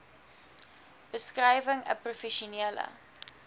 beskrywing n professionele